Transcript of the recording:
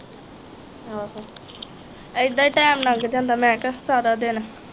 ਆਹੋ ਏਦਾ ਈ ਟਾਈਮ ਲਾਂਗ ਜਾਂਦਾ ਮੈਂ ਕਿਹਾ ਸਾਰਾ ਦਿਨ